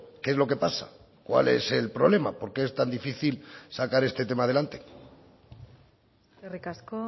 qué es lo que pasa cuál es el problema por qué es tan difícil sacar este tema adelante eskerrik asko